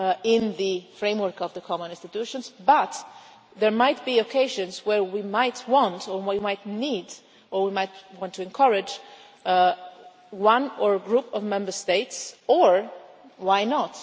in the framework of the common institutions, but there might be occasions where we might want or we might need or we might want to encourage one or a group of Member States or why not?